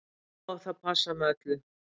Og það passar með öllu.